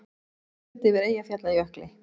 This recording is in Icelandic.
Rólegt yfir Eyjafjallajökli